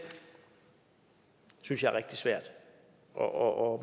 synes jeg er rigtig svært og